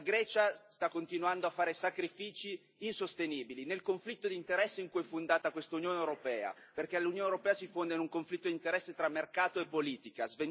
La Grecia sta continuando a fare sacrifici insostenibili nel conflitto di interessi su cui è fondata quest'Unione europea, perché l'Unione europea si fonda su un conflitto di interessi tra mercato e politica.